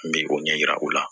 N bɛ o ɲɛ yira o la